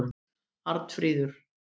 Arnfríður